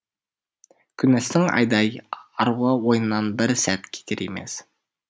күнестің айдай аруы ойынан бір сәт кетер емес